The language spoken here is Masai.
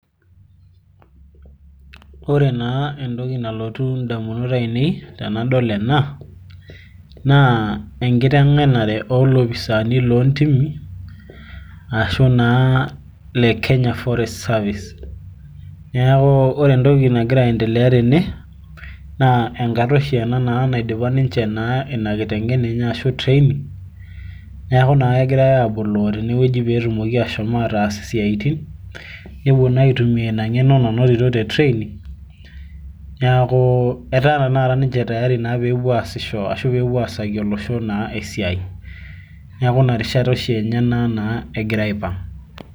ore naa entoki nalotu idaunot aainei tenadol ena naa enkitegenare oolopisaani loontimi, ashu naa le kenya forest service .neeku ore entoki nagira aendelea tene. naa enkata oshi ena naidipa enkiteng'enare enye ashu training .neeku naa kegirae aaboloo tene, pee etumoki aashomo aataas isiatin, nepuo naa aitumia ina ngeno nanotito te training niaku etaa tenakata ninche tiari pee epuo aasisho ashu pee epuo aasaki, olosho naa esiai. neeku ina rishata naa enye oshi ena egira aipang'.